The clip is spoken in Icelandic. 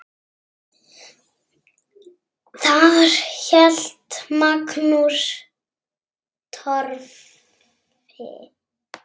Þar hélt Magnús Torfi